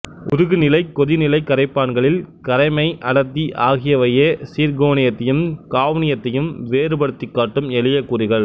உருகுநிலை கொதிநிலை கரைப்பான்களில் கரைமை அடர்த்தி ஆகியவையே சிர்க்கோனியத்தையும் ஃகாவ்னியத்தையும் வேறுபடுத்திக்காட்டும் எளிய கூறுகள்